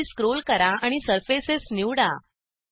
खाली स्क्रोल करा आणि सर्फेसेस निवडा